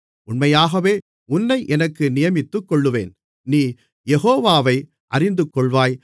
உண்மையாகவே உன்னை எனக்கு நியமித்துக்கொள்ளுவேன் நீ யெகோவாவை அறிந்துகொள்வாய்